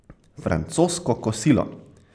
Francosko kosilo.